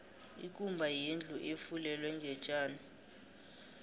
ikumba yindlu efulelwe ngotjani